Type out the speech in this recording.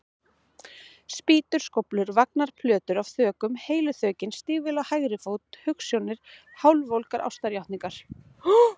Spýtur, skóflur, vagnar, plötur af þökum, heilu þökin, stígvél á hægri fót, hugsjónir, hálfvolgar ástarjátningar.